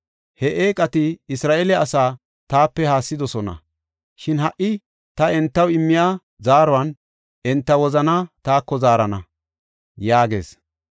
He eeqati Isra7eele asaa taape haassidosona; shin ha77i ta entaw immiya zaaruwan enta wozanaa taako zaarana” yaagees.